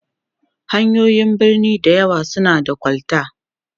hanyoyin birni da yawan su na da kol ta